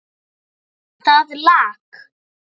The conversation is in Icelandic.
Það lak.